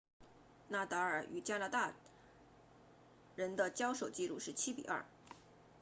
纳达尔 nadal 与加拿大人的交手记录是 7-2